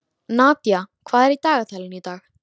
Nadía, hvað er í dagatalinu í dag?